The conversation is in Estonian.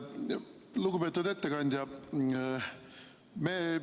Lugupeetud ettekandja!